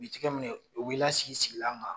U bi tigɛ minɛ, u bi lasigi sigilan kan